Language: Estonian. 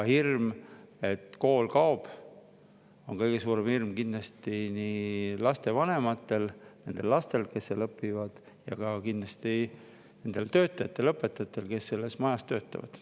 Hirm, et kool kaob, on kõige suurem kindlasti lapsevanematel ja nendel lastel, kes seal õpivad, aga kindlasti ka nendel töötajatel, õpetajatel, kes selles majas töötavad.